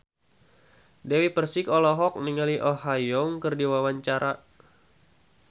Dewi Persik olohok ningali Oh Ha Young keur diwawancara